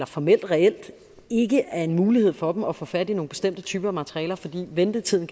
formelt og reelt ikke er en mulighed for dem at få fat i nogle bestemte typer materialer fordi ventetiden